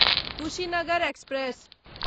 Kushinagar express